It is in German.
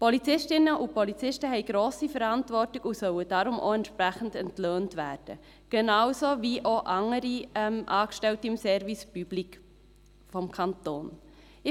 Polizistinnen und Polizisten tragen eine grosse Verantwortung und sollen deshalb auch entsprechend entlöhnt werden, genau wie andere Angestellte des Service public des Kantons auch.